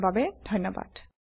যোগ দিয়াৰ বাবে ধণ্যবাদ